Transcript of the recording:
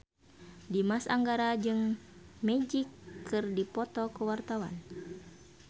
Dimas Anggara jeung Magic keur dipoto ku wartawan